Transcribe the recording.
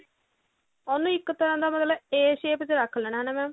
ਉਹਨੂੰ ਇੱਕ ਤਰ੍ਹਾਂ ਨਾਲ ਮਤਲਬ a shape ਚ ਰੱਖ ਲੇਣਾ ਹਨਾ mam